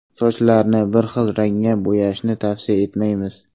Sochlarni bir rangda bo‘yashni tavsiya etmaymiz.